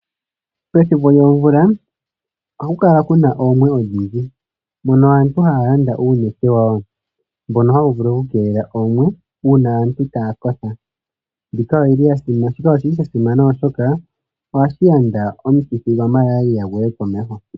Pethimbo lyomvula ohapu kala kuna oomwe odhindji mono aantu haya landa uunete wayo, mbono hawu vulu oku keelela oomwe una aantu taya kotha. Shika oshili shasimana oshoka ohashi yanda omukithi gwaMaralia guye komeho.